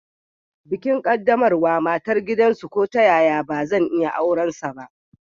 Bikin qaddamarwa matar gidansu ko ta yaya bazan iya aurensa ba.